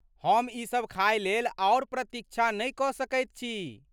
हम ई सभ खाय लेल आओर प्रतीक्षा नहि कऽ सकैत छी।